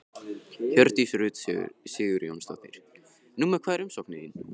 Hjördís Rut Sigurjónsdóttir: Númer hvað er umsóknin þín?